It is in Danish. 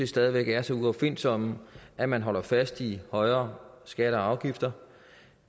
stadig væk er så uopfindsom at man holder fast i højere skatter og afgifter